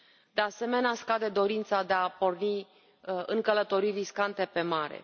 De asemenea, scade dorința de a porni în călătorii riscante pe mare.